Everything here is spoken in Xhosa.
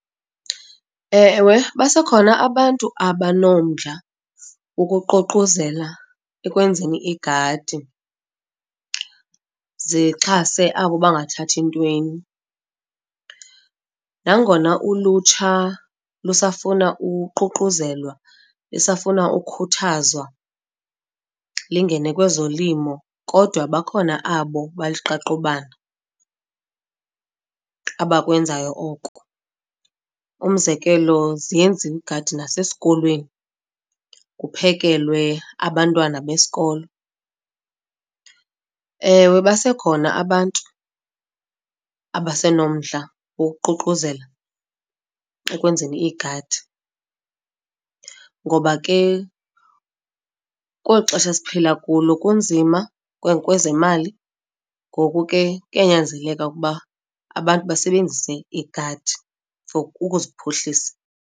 Ewe, basekhona abantu abanomdla ukuququzela ekwenzeni igadi zixhase abo bangathathi ntweni. Nangona ulutsha lusafuna uququzelwa, lisafuna ukhuthazwa lingene kwezolimo, kodwa bakhona abo baliqaqobana abakwenzayo oko. Umzekelo ziyenziwa iigadi nasesikolweni kuphekelwe abantwana besikolo. Ewe, basekhona abantu abasenomdla wokuququzela ekwenzeni iigadi, ngoba ke kweli xesha siphila kulo kunzima kwezemali. Ngoku ke, kuyanyanzeleka ukuba abantu basebenzise iigadi for ukuziphuhlisa.